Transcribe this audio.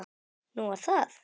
Nú, var það?